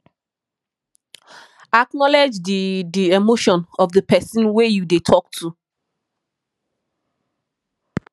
acknowlege di di emotion of di person wey you dey talk to